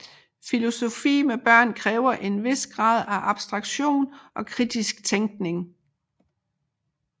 Filosofi med børn kræver en hvis grad af abstraktion og kritisk tænkning